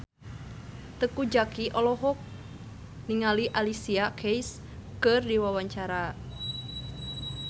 Teuku Zacky olohok ningali Alicia Keys keur diwawancara